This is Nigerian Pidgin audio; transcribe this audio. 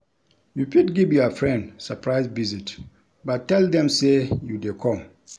You fit give your friend surprise visit but tell them say you de come